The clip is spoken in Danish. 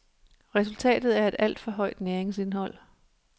Resultatet er et alt for højt næringsindhold.